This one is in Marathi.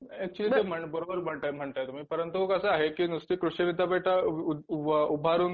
ऍक्च्युली तुम्ही बरोबर म्हणताय म्हणताय तुम्ही परंतु कसं आहे की नुसती कृषिविद्यापीठात उभारून